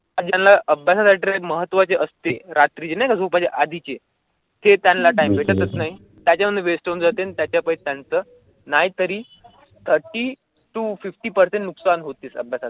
महत्त्वाचे असते रात्री झोपण्या आधीचे ते त्यांना टाइम भेटत नाही. त्यांना वेष्ट जातील त्याच्या नाही तरी ती पर्सेंट नुकसान होते.